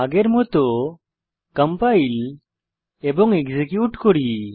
আগের মত কম্পাইল এবং এক্সিকিউট করি